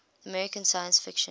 american science fiction